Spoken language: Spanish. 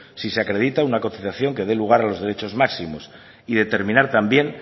si se acredita una cotización que dé lugar a los derechos máximos y determinar también